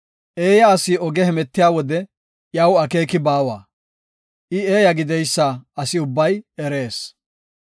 Eeya asi oge hemetiya wode iyaw akeeki baawa; I eeya gideysa asi ubbay erees.